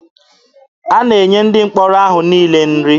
A na-enye ndị mkpọrọ ahụ niile nri.